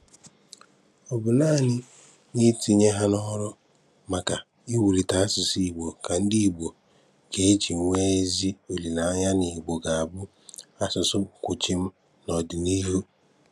Ọ bụ́ nàanị n’itinye hà n’ọ̀rụ̀ maka nkwàlite asụ̀sụ́ Ìgbò ka ndị Ìgbò ga-eji nwee ezi olileanya na Ìgbò ga-abụ asụ̀sụ́ kwụ̀chìm n’ọ̀dị̀nìíhù.